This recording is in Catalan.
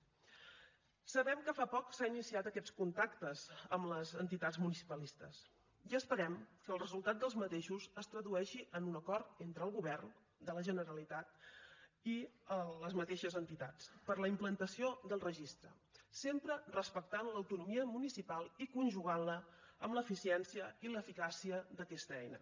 sabem que fa poc s’han iniciat aquests contactes amb les entitats municipalistes i esperem que el resultat d’aquests es tradueixi en un acord entre el govern de la generalitat i les mateixes entitats per a la implantació del registre sempre respectant l’autonomia municipal i conjugant la amb l’eficiència i l’eficàcia d’aquesta eina